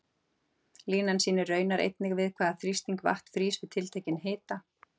Línan sýnir raunar einnig við hvaða þrýsting vatn frýs við tiltekinn hita.